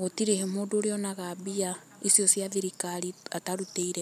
gũtirĩ mũndũ ũrĩonaga mbia icio cia thirikari atarutĩire wira.